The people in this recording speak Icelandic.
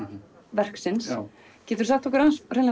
verksins geturðu sagt okkur